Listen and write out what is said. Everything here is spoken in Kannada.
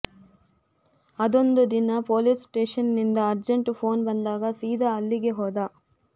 ಅದೊಂದು ದಿನ ಪೋಲಿಸ್ ಸ್ಟೇಷನ್ನಿಂದ ಅರ್ಜೆಂಟ್ ಫೋನ್ ಬಂದಾಗ ಸೀದಾ ಅಲ್ಲಿಗೆ ಹೋದ